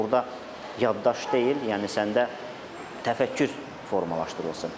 Yəni burda yaddaş deyil, yəni səndə təfəkkür formalaşdırılsın.